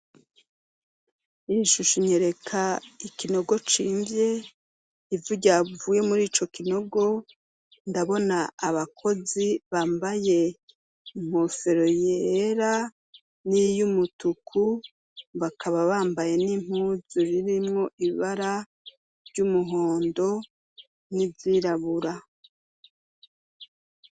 Iyishusho inyereka ikinogo cimvye, ivu ryavuye mur'icokinogo, ndabona abakozi bambaye inkofero yera n'iy'umutuku bakaba bambaye n'impuzu zirimwo ibara ry'umuhondo n'iryirabura.